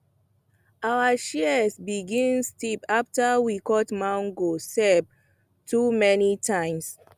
our shears begin stiff after we cut mango sap too many times